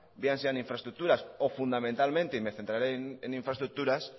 bien sean infraestructuras o fundamentalmente y me centraré en infraestructuras